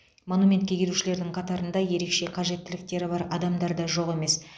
монументке келушілердің қатарында ерекше қажеттіліктері бар адамдар да жоқ емес